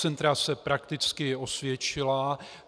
Centra se prakticky osvědčila.